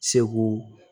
Segu